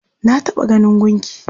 Na taɓa ganin gunki.